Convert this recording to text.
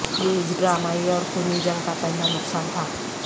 یہ اس ڈرامائی اور خونی جنگ کا پہلا نقصان تھا